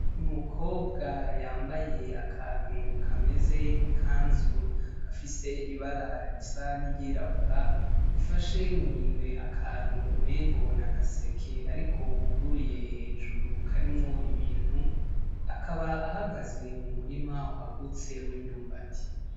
Umukobwa yambaye akantu kameze nk'ikazu gafise ibara risa n'iry'irabura afashe mu minwe akantu umengo n'agaseke ariko kuguruye hejuru karimwo ibintu, akaba ahagaze mu murima wagatse w'ivyumbati.